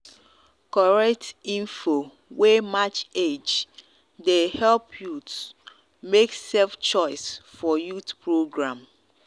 correct info wey match age dey help youths make safe choice for youth program.